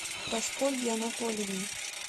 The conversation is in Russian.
прасковьи анатольевны